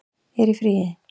er í fríi